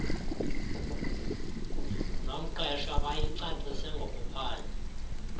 nomqeshwa bayicacise ngokuphandle